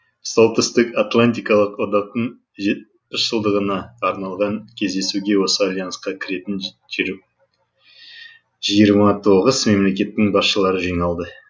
солтүстікатлантикалық одақтың жетпіс жылдығына арналған кездесуге осы альянсқа кіретін жиырма тоғыз мемлекеттің басшылары жиналды